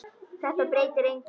Þetta breytir engu.